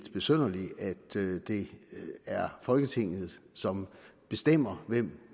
besynderligt at det er folketinget som bestemmer hvem